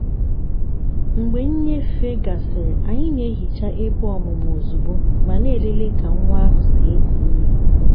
mgbe nnyefe gasịrị anyị na-ehicha ebe ọmụmụ ozugbo ma na-elele ka nwa ahụ si eku ume.